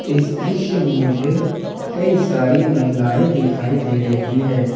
इस दृश्य में मुझे कई सारी महिलाएं दिखाई दे रही है ।